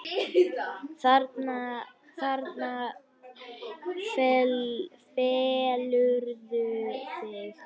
Þarna felurðu þig!